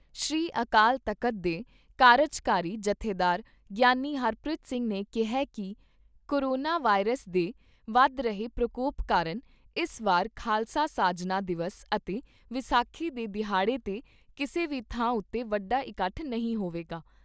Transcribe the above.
ਸ੍ਰੀ ਅਕਾਲ ਤਖਤ ਦੇ ਕਾਰਜਕਾਰੀ ਜਥੇਦਾਰ ਗਿਆਨੀ ਹਰਪ੍ਰੀਤ ਸਿੰਘ ਨੇ ਕਿਹਾ ਕਿ ਕਰੋਨਾ ਵਾਇਰਸ ਦੇ ਵੱਧ ਰਹੇ ਪ੍ਰਕੋਪ ਕਾਰਨ ਇਸ ਵਾਰ ਖਾਲਸਾ ਸਾਜਨਾ ਦਿਵਸ ਅਤੇ ਵਿਸਾਖੀ ਦੇ ਦਿਹਾੜੇ 'ਤੇ ਕਿਸੇ ਵੀ ਥਾਂ ਉਤੇ ਵੱਡਾ ਇਕੱਠ ਨਹੀਂ ਹੋਵੇਗਾ।